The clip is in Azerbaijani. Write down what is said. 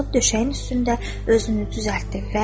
Qalxıb döşəyin üstündə özünü düzəltdi.